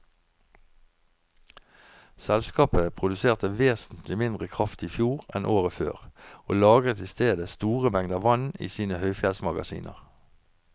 Selskapet produserte vesentlig mindre kraft i fjor enn året før, og lagret i stedet store mengder vann i sine høyfjellsmagasiner.